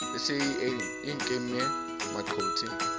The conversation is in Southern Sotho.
e se e nkeme maqothe